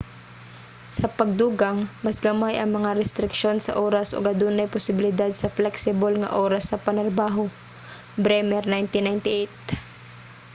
sa pagdugang mas gamay ang mga restriksyon sa oras ug adunay posibilidad sa flexible nga oras sa panarbaho. bremer 1998